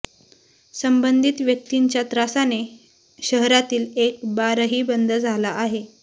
संबंधित व्यक्तींच्या त्रासाने शहरातील एक बारही बंद झाला आहे